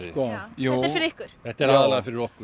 þetta er aðallega fyrir okkur